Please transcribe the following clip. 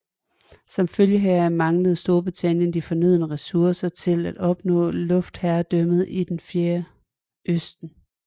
Som følge heraf manglede Storbritannien de fornødne ressourcer til at opnå luftherredømmet i Det fjerne østen